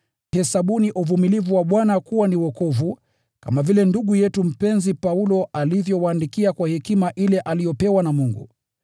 Hesabuni uvumilivu wa Bwana kuwa ni wokovu, kama vile ndugu yetu mpenzi Paulo alivyowaandikia kwa hekima ile aliyopewa na Mungu.